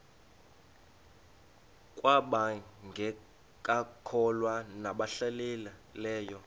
kwabangekakholwa nabahlehli leyo